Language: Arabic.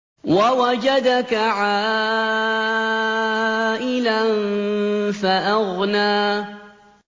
وَوَجَدَكَ عَائِلًا فَأَغْنَىٰ